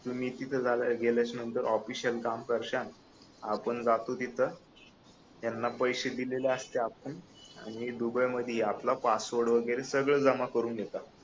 तुम्ही तिथ राहिल्या गेलेच्या नंतर ऑफिसिअल काम करशाल आपण जातो तिथ त्यांना पैशे दिलेले आसतय आपण आणि दुबई मध्ये आपला पासवर्ड वैगरे सगळं जमा करून घेतात